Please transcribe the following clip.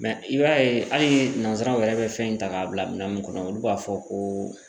i b'a ye hali nanzaraw yɛrɛ bɛ fɛn in ta k'a bila minɛ mun kɔnɔ olu b'a fɔ ko